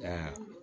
Nka